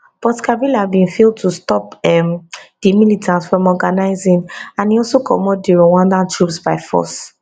but kabila bin fail to stop um di militants from organising and e also comot di rwandan troops by force